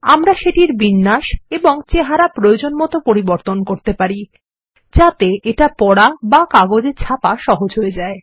আমরা সেটির বিন্যাস এবং চেহারা প্রয়োজনমত পরিবর্তন করতে পারি যাতে এটা পড়া বা কাগজে ছাপা সহজ হয়ে যায়